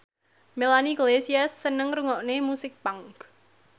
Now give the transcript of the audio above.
Melanie Iglesias seneng ngrungokne musik punk